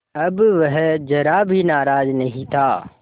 अब वह ज़रा भी नाराज़ नहीं था